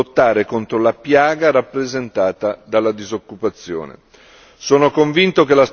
in particolare per lottare contro la piaga rappresentata dalla disoccupazione.